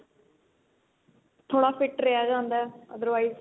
ਥੋੜਾ fit ਰਿਹਾ ਜਾਂਦਾ otherwise